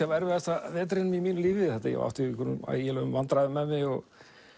af erfiðasta vetri í mínu lífi ég átti í ægilegum vandræðum með mig og